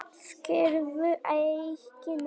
Skilurðu ekki neitt?